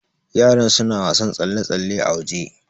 Yaran suna wasan tsalle-tsalle a waje